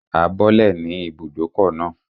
A bọ́lẹ̀ ní ibùdókọ̀ náà